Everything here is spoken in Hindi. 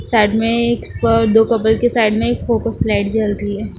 साइड में एक अ दो कपल के साइड में एक फोकस लाइट जल रही है।